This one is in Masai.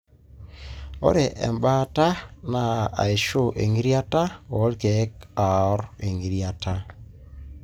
ore embaata na aishu engitirata o lkeek oar engitirata.